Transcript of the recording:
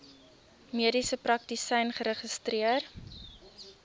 mediese praktisyn geregistreer